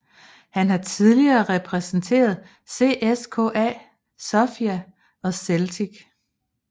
Han har tidligere repræsenteret CSKA Sofia og Celtic